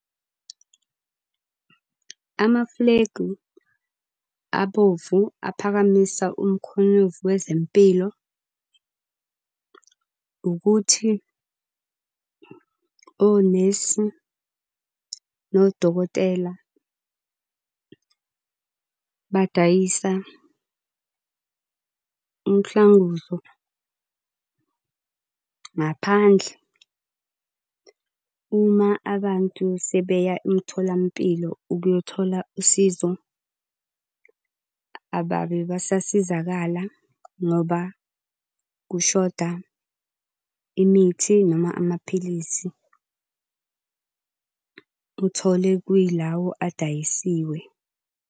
Amafulegi abovu aphakamisa umkhonyovu wezempilo, ukuthi onesi nodokotela badayisa umhlanguzo, ngaphandle. Uma abantu sebeya emtholampilo ukuyothola usizo, ababe besasizakala ngoba kushoda imithi noma amaphilisi. Uthole kuyilawo adayisiwe.